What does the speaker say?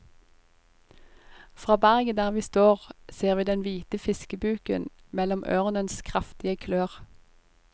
Fra berget der vi står ser vi den hvite fiskebuken mellom ørnens kraftige klør.